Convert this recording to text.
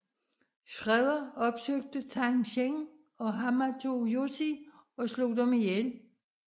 Shredder opsøgte Tang Shen og Hamato Yoshi og slog dem ihjel